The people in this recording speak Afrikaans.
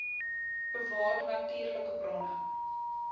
bewaar natuurlike bronne